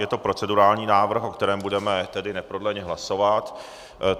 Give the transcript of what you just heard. Je to procedurální návrh, o kterém budeme tedy neprodleně hlasovat.